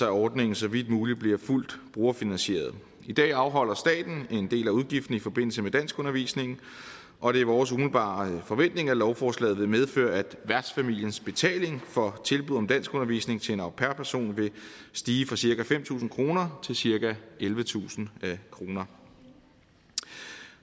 at ordningen så vidt muligt bliver fuldt brugerfinansieret i dag afholder staten en del af udgiften i forbindelse med danskundervisningen og det er vores umiddelbare forventning at lovforslaget vil medføre at værtsfamiliens betaling for tilbuddet om danskundervisning til en au pair person vil stige fra cirka fem tusind kroner til cirka ellevetusind kroner